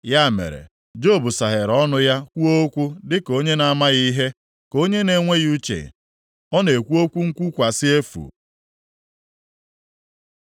Ya mere, Job saghere ọnụ ya kwuo okwu dịka onye na-amaghị ihe; ka onye na-enweghị uche ọ na-ekwu okwu nkwukwasị efu.”